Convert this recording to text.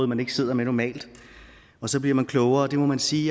man ikke sidder med normalt og så bliver man klogere det må man sige